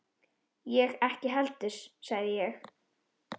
Ég ekki heldur sagði ég.